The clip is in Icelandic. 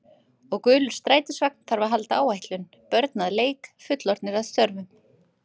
Og gulur strætisvagn þarf að halda áætlun, börn að leik, fullorðnir að störfum.